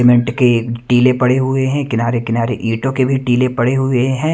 Cement के टीले पड़े हुए हैं किनारे किनारे ईंटों के भी टीले पड़े हुए हैं।